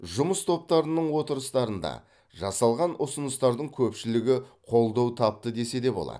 жұмыс топтарының отырыстарында жасалған ұсыныстардың көпшілігі қолдау тапты десе де болады